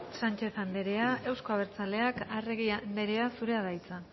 sánchez anderea euzko abertzaleak arregi anderea zurea da hitza